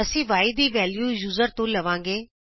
ਅਸੀਂ y ਦੀ value user ਤੋਂ ਲਵਾਂਗੇ